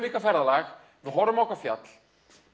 eitthvað ferðalag við horfum á eitthvað fjall